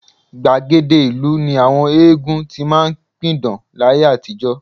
Gbàgede ìlú ni àwọn eégún ti máa ń pidán láyé àtijọ́